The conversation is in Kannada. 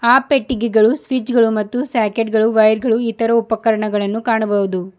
ಆ ಪಟ್ಟಿಗೆಗಳು ಸ್ವಿಚ್ ಗಳು ಮತ್ತು ಸ್ಯಾಕೇಟ್ ಗಳು ವೈರ್ ಗಳು ಇತರ ಉಪಕರಣಗಳನ್ನು ಕಾಣಬಹುದು.